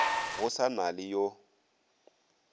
go sa na le yo